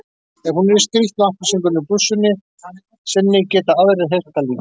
Ef hún er í skrýtnu appelsínugulu blússunni sinni geta aðrir heyrt það líka.